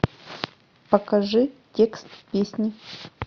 покажи текст песни